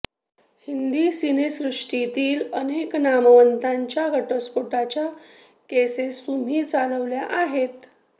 हिंदी सिनेसृष्टीतील अनेक नामवंतांच्या घटस्फोटाच्या केसेस तुम्ही चालवल्या आहेत